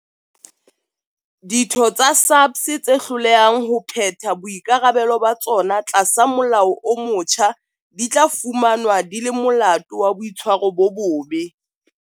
Ditho tsa SAPS tse hlolehang ho phetha boikarabelo ba tsona tlasa molao o motjha di tla fumanwa di le molato wa boitshwaro bo bobe.